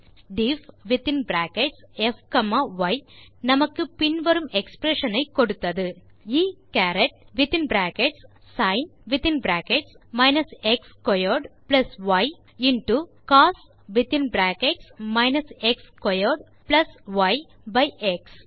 diffப் y நமக்கு பின் வரும் எக்ஸ்பிரஷன் ஐ கொடுத்தது e சரத் sin x squared y into cos by X